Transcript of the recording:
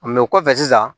kɔfɛ sisan